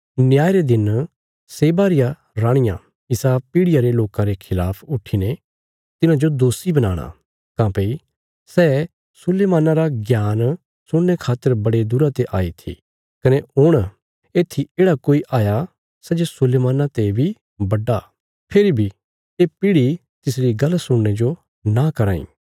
न्याय रे दिन शेबा री राणिया इसा पीढ़ियां रे लोकां रे खलाफ उट्ठीने तिन्हाजो दोषी बनाणा काँह्भई सै सुलैमाना रा ज्ञान सुणने खातर बड़े दूरा ते आई थी कने हुण येत्थी येढ़ा कोई हाया सै जे सुलैमाना ते बी बड्डा फेरी बी ये पीढ़ी तिसरी गल्ल सुणने जो नां कराँ इ